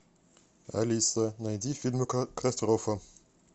алиса найди фильмы катастрофа